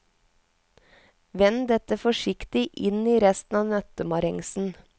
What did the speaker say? Vend dette forsiktig inn i resten av nøttemarengsen.